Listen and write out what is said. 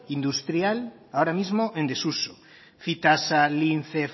industrial ahora mismo en desuso fytasa lince